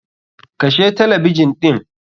Kashe talabijin ɗin!